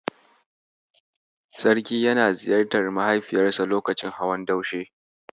Sarki yana ziyartar mahaifiyarsa lokacin hawan Daushe.